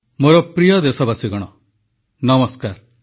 • ଏକ ମନ ଏକ ପ୍ରାଣ ହୋଇ କରୋନା ବିରୋଧୀ ଲଢେଇ ଲଢୁଛନ୍ତି ଦେଶବାସୀ ନରେନ୍ଦ୍ର ମୋଦୀ